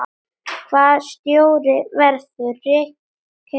Hvaða stjóri verður rekinn fyrstur?